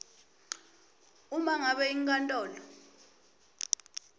uma ngabe inkantolo